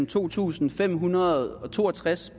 to tusind fem hundrede og to og tres